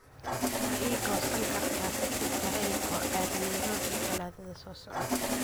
ma ii goosan kartaa tigidh tareen oo aad nairobi talaadada soo socota